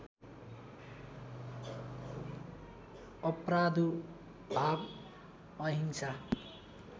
अप्रादुर्भाव अहिंसा